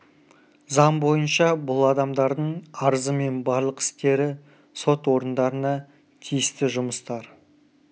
заң бойынша бұл адамдардың арызы мен барлық істері сот орындарына тиісті жұмыстар